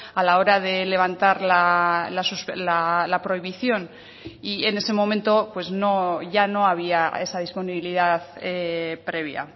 a la hora de levantar la prohibición y en ese momento pues no ya no había esa disponibilidad previa